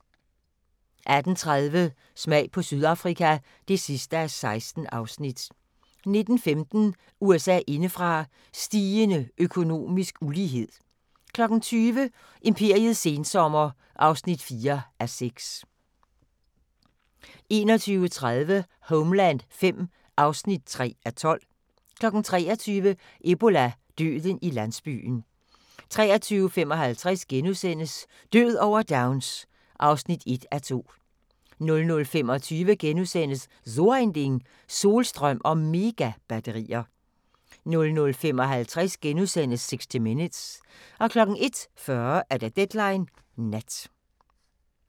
18:30: Smag på Sydafrika (16:16) 19:15: USA indefra: Stigende økonomisk ulighed 20:00: Imperiets sensommer (4:6) 21:30: Homeland V (3:12) 23:00: Ebola – døden i landsbyen 23:55: Død over Downs (1:2)* 00:25: So ein Ding: Solstrøm og Megabatterier * 00:55: 60 Minutes * 01:40: Deadline Nat